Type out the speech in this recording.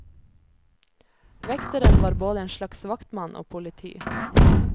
Vekteren var både en slags vaktmann og politi.